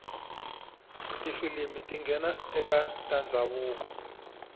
tifilimu tingena ekatandzavuko